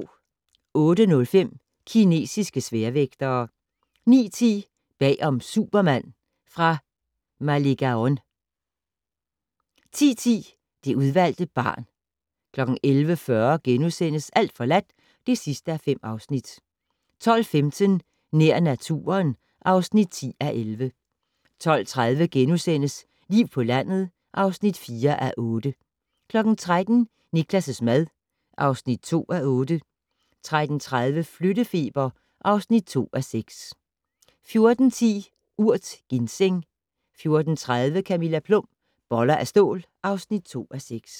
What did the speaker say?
08:05: Kinesiske sværvægtere 09:10: Bag om "Superman" - fra Malegaon 10:10: Det udvalgte barn 11:40: Alt forladt (5:5)* 12:15: Nær naturen (10:11) 12:30: Liv på landet (4:8)* 13:00: Niklas' mad (2:8) 13:30: Flyttefeber (2:6) 14:10: Urt: ginseng 14:30: Camilla Plum - Boller af stål (2:6)